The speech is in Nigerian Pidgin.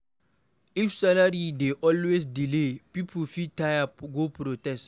If salary dey always delay, pipo fit tire go strike.